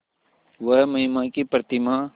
वह महिमा की प्रतिमा